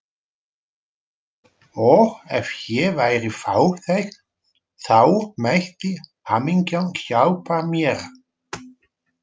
Og ef ég væri fátæk þá mætti hamingjan hjálpa mér.